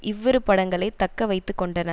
இவ்விரு படங்களே தக்க வைத்து கொண்டன